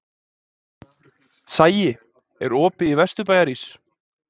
Sæi, er opið í Vesturbæjarís?